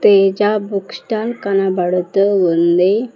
Teja book stall కనబడుతూ ఉంది.